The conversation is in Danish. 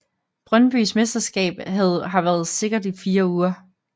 Brøndbys mesterskab har været sikkert i fire uger